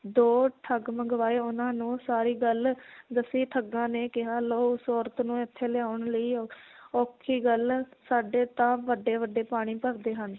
ਦੋ ਠੱਗ ਮੰਗਵਾਏ ਉਹਨਾਂ ਨੂੰ ਸਾਰੀ ਗੱਲ ਦੱਸੀ ਠੱਗਾਂ ਨੇ ਕਿਹਾ ਲਓ ਉਸ ਔਰਤ ਨੂੰ ਇਥੇ ਲਿਆਉਣ ਲਈ ਔਖੀ ਗੱਲ, ਸਾਡੇ ਤਾਂ ਵੱਡੇ ਵੱਡੇ ਪਾਣੀ ਭਰਦੇ ਹਨ